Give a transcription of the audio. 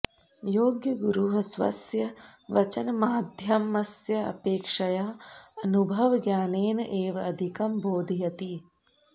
योग्यगुरुः स्वस्य वचनमाध्यमस्य अपेक्षया अनुभवज्ञानेन एव अधिकं बोधयति